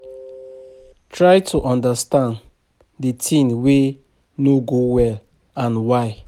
Try to understan di thing wey no go well and why